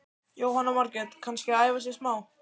Jóhanna Margrét: Kannski að æfa sig smá?